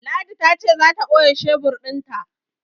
Ladi ta ce za ta ɓoye shebur ɗin ta.